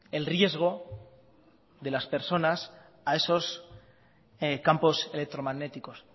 el riesgo de las personas a esos campos electromagnéticos